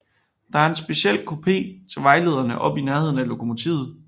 Der er en speciel kupé til vejlederne oppe i nærheden af lokomotivet